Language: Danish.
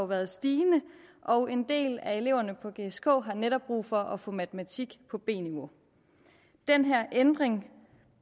været stigende og en del af eleverne på gsk har netop brug for at få matematik på b niveau den her ændring